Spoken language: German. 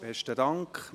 Besten Dank.